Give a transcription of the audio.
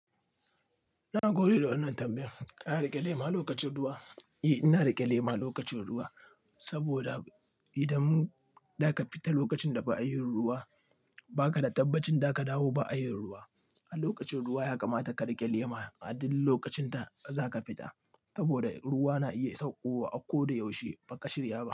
Na gode da wannan tambayan. Ka riƙe lema lokacin ruwa? Eh ina rike lema lokacin ruwa, saboda, idan mun, daka fita lokacin da ba'a yin ruwa, ba ka da tabbacin daka dawo ba'a yin ruwa. A lokacin ruwa ya kamata ka riƙe lema, a duk lokacin da zaka fita, saboda ruwa na iya saukowa a ko da yaushe ba ka shirya ba.